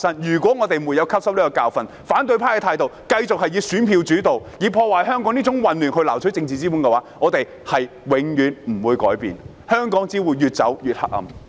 如果我們沒有汲取這個教訓，反對派繼續以選票作主導，以破壞香港、製造混亂來撈取政治資本，我們便永遠無法改變，香港只會越走越黑暗。